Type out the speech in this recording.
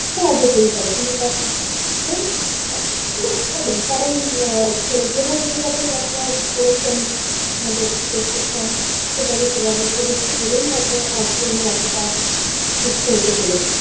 কারণ যেভাবে যেভাবে ডক্টর পড়েছেন আমাদের প্রেসক্রিপসন সেভাবে সেভাবে করেছি বলেই হয়তো আজকে উনি এতটা সুস্থ হতে পেরেছেন।